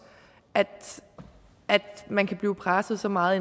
at man kan blive presset så meget